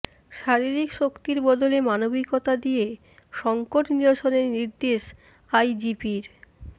শারীরিক শক্তির বদলে মানবিকতা দিয়ে সংকট নিরসনের নির্দেশ আইজিপির